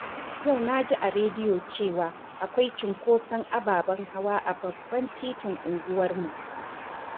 Yau na ji a rediyo cewa akwai cunkoson ababen hawa a babban titin unguwarmu.